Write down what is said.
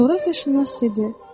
Coğrafiyaşünas dedi: